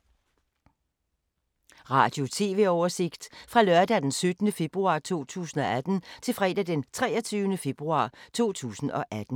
Radio/TV oversigt fra lørdag d. 17. februar 2018 til fredag d. 23. februar 2018